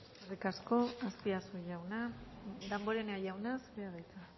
eskerrik asko azpiazu jauna damborenea jauna zurea da hitza